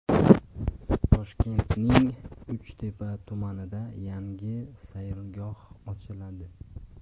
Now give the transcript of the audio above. Toshkentning Uchtepa tumanida yangi sayilgoh ochiladi .